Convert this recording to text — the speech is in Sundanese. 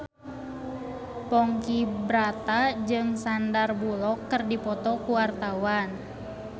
Ponky Brata jeung Sandar Bullock keur dipoto ku wartawan